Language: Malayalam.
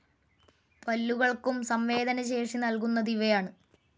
പല്ലുകൾക്കും സംവേദനശേഷി നൽകുന്നതു ഇവയാണു.